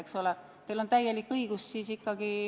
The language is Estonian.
Eks ole, teil on ikkagi täielik õigus protestida.